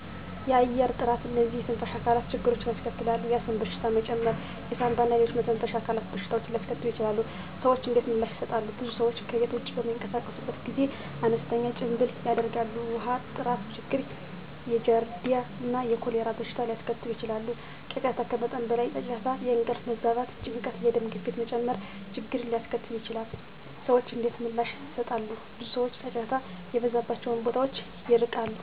1. የአየር ጥራት *እነዚህ የትንፋሽ አካላት ችግሮችን ያስከትላል፣ የአስም በሽታ መጨመር የሳንባ እና ሌሎች የመተንፈሻ አካላት በሽታዎችን ሊያስከትሉ ይችላሉ። **ሰዎች እንዴት ምላሽ ይሰጣሉ? *ብዙ ሰዎች ከቤት ውጭ በሚንቀሳቀሱበት ጊዜ አነስተኛ ጭምብል ያደርጋሉ። 2. ውሃ ጥራት ችግር የጃርዲያ እና የኮሌራ በሽታ ሊያስከትል ይችላል። 3. ጫጫታ ከመጠን በላይ ጫጫታ የእንቅልፍ መዛባት፣ ጭንቀት፣ የደም ግፊት መጨመር ችግርን ሊያስከትል ይችላል። *ሰዎች እንዴት ምላሽ ይሰጣሉ? ብዙ ሰዎች ጫጫታ የበዛባቸውን ቦታዎች ይርቃሉ።